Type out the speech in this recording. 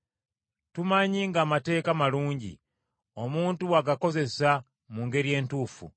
Tumanyi ng’amateeka malungi, omuntu bw’agakozesa mu ngeri entuufu.